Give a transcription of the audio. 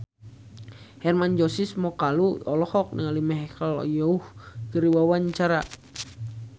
Hermann Josis Mokalu olohok ningali Michelle Yeoh keur diwawancara